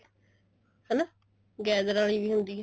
ਹਨਾ gather ਵਾਲੀ ਵੀ ਹੁੰਦੀ ਹੈ